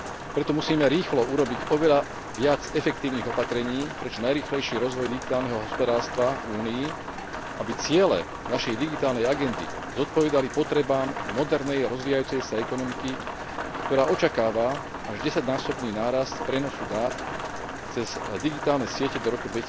Preto musíme rýchlo urobiť oveľa viac efektívnych opatrení pre čo najrýchlejší rozvoj digitálneho hospodárstva v Únii, aby ciele našej digitálnej agendy zodpovedali potrebám modernej rozvíjajúcej sa ekonomiky, ktorá očakáva až desaťnásobný nárast prenosu dát cez digitálne siete do roku